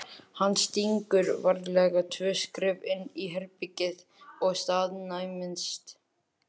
Hann stígur varlega tvö skref inn í herbergið og staðnæmist.